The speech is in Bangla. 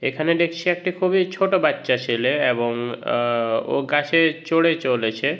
এখানে দেখছি একটা খুবই ছোট বাচ্চা ছেলে এবংআ ও গাছে চড়ে চলেছে।